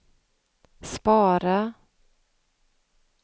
spara